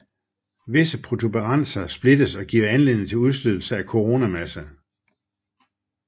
Visse protuberanser splittes og giver anledning til udstødelse af koronamasse